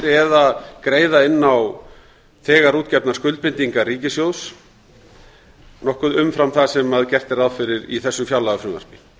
eða greiða inn á þegar útgefnar skuldbindingar ríkissjóðs nokkuð umfram það sem gert er ráð fyrir í þessu fjárlagafrumvarpi